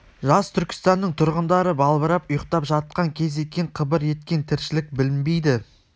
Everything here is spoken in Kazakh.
жас түркістанның тұрғындары балбырап ұйықтап жатқан кез екен қыбыр еткен тіршілік білінбейді